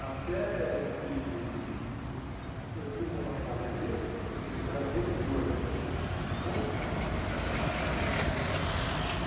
Até que eu eu tinha um contato com um amigo meu, que ele era vendedor né, um bom amigo né.